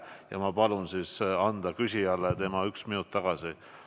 Ja ma palun anda küsijale tema üks minut tagasi.